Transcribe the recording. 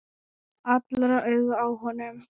Allra augu á honum.